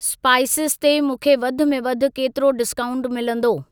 Pisces ते मूंखे वधि में वधि केतिरो डिस्काऊंट मिलंदो?